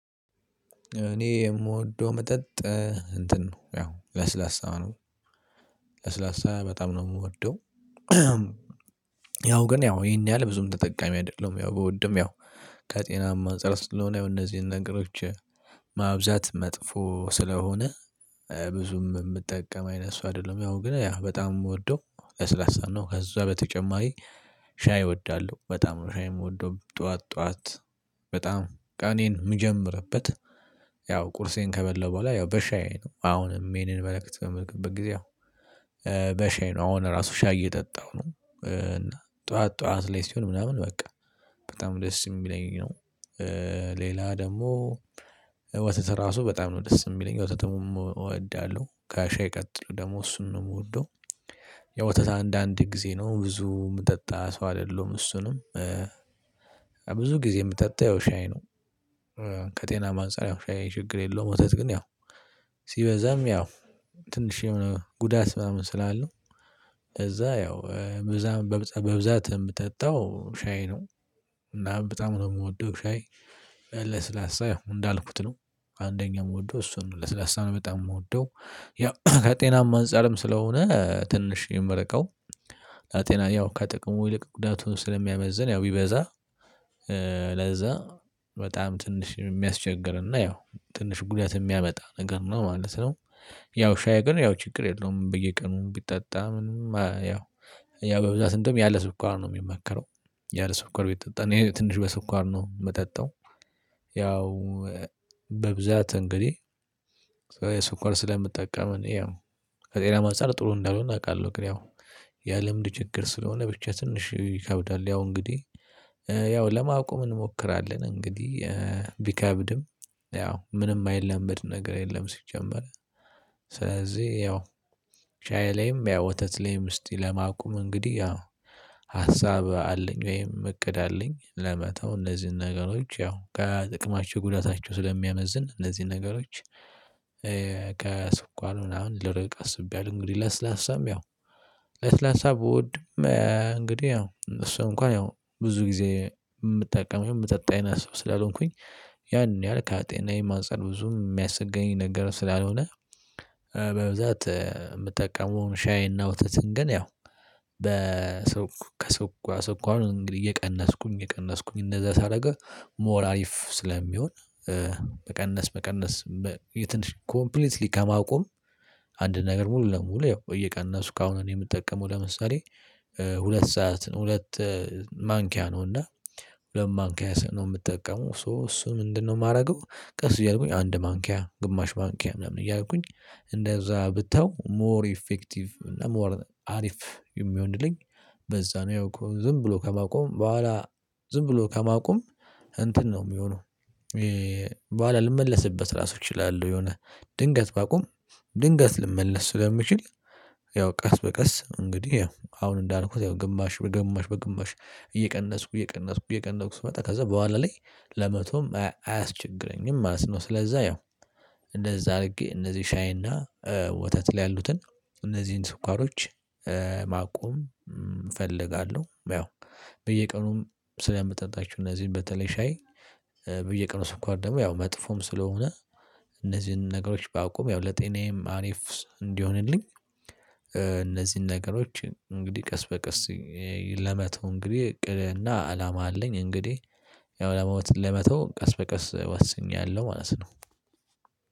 እኔ የምወደው መጠጥ እንትን ነው ያው ለስላሳ ነው። ለስላሳ በጣም ነው የምወደው። ያው ግን ያው ይሄን ያህል ብዙም ተጠቃሚ አይደለሁም። ያው ብወድም ያው ከጤናም አንፃር ስለሆነ እነዚህን ነገሮች ማብዛት መጥፎ ስለሆነ ብዙም የምጠቀም አይነት ሰው አይደለሁም። ያው ግን ያ በጣም የምወደው ለስላሳ ነው። ከዛ በተጨማሪ ሻይ እወዳለሁ። በጣም ነው ሻይ የምወደው። ጠዋት ጠዋት በጣም ቀኔን የምጀምርበት ያው ቁርሴን ከበላሁ በኋላ ያው በሻይ ነው። አሁንም ይህንን መልእክት በምልክበት ጊዜ ያው በሻይ ነው አሁን ራሱ ሻይ እየጠጣሁ ነው እና ጠዋት ጠዋት ላይ ሲሆን ምናምን በቃ በጣም ደስ የሚለኝ ነው። ሌላ ደግሞ ወተት ራሱ በጣም ነው ደስ የሚለኝ። ወተትም እወዳለሁ ከሻይ ቀጥሎ ደግሞ እሱን ነው የምወደው። ያው ወተት አንዳንድ ጊዜ ነው። ብዙ የምጠጣ ሰው አይደለሁም እሱንም። ብዙ ጊዜ የምጠጣው ሻይ ነው ከጤናም አንፃር ሻይ ችግር የለውም። ወተት ግን ያው ሲበዛም ያው ትንሽ የሆነ ጉዳት ምናምን ስላለው በብዛት የምጠጣው ሻይ ነው። እና በጣም ነው የምወደው ሻይ ለስላሳ እንዳልኩት ነው፣ አንደኛ የምወደው እሱን ነው። ለስላሳ ነው በጣም የምወደው። ያው ከጤናም አንፃርም ስለሆነ ትንሽ የምርቀው ጤና ያው ከጥቅሙ ይልቅ ጉዳቱን ስለሚያመዝን ያው ቢበዛ ለዛ በጣም ትንሽ የሚያስቸግርን እና ያው ትንሽ ጉዳት የሚያመጣ ነገር ነው ማለት ነው ያው ሻይ ግን ያው ችግር የለውም። በየቀኑም ቢጠጣ ምንም ያው ያው በብዛት እንደውም ያለ ስኳር ነው የሚመከረው ያለ ስኳር ቢጠጣ እኔ ትንሽ በስኳር ነው የምጠጣው ያው በብዛት እንግዲህ ስኳር ስለምጠቀም እኔ ያው ከጤናም አንፃር ጥሩ እንዳልሆነ አውቃለሁ። እንግዲህ ያው የአለም ሁሉ ችግር ስለሆነ ብቻ ትንሽ ይከብዳል ያው እንግዲህ ያው ለማቆም እንሞክራለን እንግዲህ ቢከብድም ያው ምንም የማይለመድ ነገር የለም ሲጀመር ስለዚህ ያው ሻይ ላይም ያ ወተት ላይም እስቲ ለማቆም እንግዲህ ያው ሀሳብ አለኝ ወይም እቅድ አለኝ ለመተው እነዚህን ነገሮች። ያው ከጥቅማቸው ጉዳታቸው ስለሚያመዝን እነዚህን ነገሮች ከስኳር ምናምን ልርቅ አስቤያለሁ። እንግዲህ ለስላሳም ያው ለስላሳ ብወድም እንግዲህ ያው እሱ እንኳን ያው ብዙ ጊዜ የምጠቀም የምጠጣ አይነት ሰው ስላልሆንኩኝ ያን ያህል ከጤናየም አንፃር ብዙም የሚያስገኝ ነገር ስላልሆነ በብዛት የምጠቀመው ሻይና ወተትን ግን ያው ስኳር እንግዲህ እየቀነስኩኝ እየቀነስኩኝ እንደዛ ሳደርግ ሞር አሪፍ ስለሚሆን ብቀንስ ብቀንስ የትንሽ ኮምፕሊትሊ ከማቆም አንድ ነገር ሙሉ ለሙሉ ያው እየቀነሱ ካሁን እኔ የምጠቀመው ለምሳሌ ሁለት ሰዓት ነው ሁለት ማንኪያ ነውና። ሁለት ማንኪያ ነው የምጠቀመው። ሶ ሶ ምንድነው የማደርገው ቀስ እያልኩኝ አንድ ማንኪያ ግማሽ ማንኪያ ምናምን እያደረግኩኝ እንደዛ ብተው ሞር ኢፌክቲቭ እና ሞር አሪፍ የሚሆንልኝ በዛ ነው ያው ዝም ብሎ ከማቆም በኋላ ዝም ብሎ ከማቆም እንትን ነው የሚሆነው በኋላ ልመለስበት ራሱ እችላለሁ የሆነ ድንገት ባቆም ድንገት ልመለስ ስለምችል ያው ቀስ በቀስ እንግዲህ አሁን እንዳልኩት ያው ግማሽ በግማሽ በግማሽ እየቀነስኩ እየቀነስኩ እየቀነስኩ ስመጣ ከዛ በኋላ ላይ ለመተውም አያስቸግረኝም ማለት ነው። ስለዛ ያው እንደዛ አድርጌ እነዚህ ሻይና ወተት ላይ ያሉትን እነዚህን ስኳሮች ማቆም እፈልጋለሁ። ያው በየቀኑም ስለምጠጣቸው እነዚህን በተለይ ሻይ በየቀኑ ስኳር ደግሞ ያው መጥፎም ስለሆነ እነዚህን ነገሮች ባቆም ያው ለጤናዬም አሪፍ እንዲሆንልኝ እነዚህን ነገሮች እንግዲህ ቀስ በቀስ ለመተው እንግዲህ እቅድና አላማ አለኝ። እንግዲህ ያው ለመተው ቀስ በቀስ ወስኛለሁ ማለት ነው።